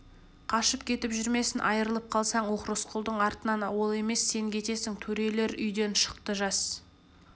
қашып кетіп жүрмесін айырылып қалсаң ух рысқұлдың артынан ол емес сен кетесің төрелер үйден шықты жас